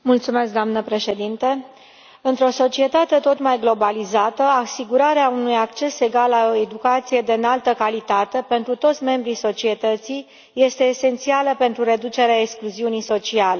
Doamnă președintă, într o societate tot mai globalizată asigurarea unui acces egal la o educație de înaltă calitate pentru toți membrii societății este esențială pentru reducerea excluziunii sociale.